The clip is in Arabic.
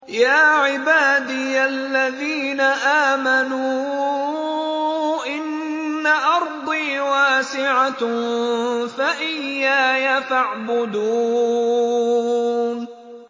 يَا عِبَادِيَ الَّذِينَ آمَنُوا إِنَّ أَرْضِي وَاسِعَةٌ فَإِيَّايَ فَاعْبُدُونِ